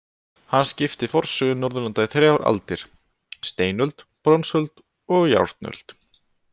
Hann skipti forsögu Norðurlanda í þrjár aldir: steinöld, bronsöld og járnöld.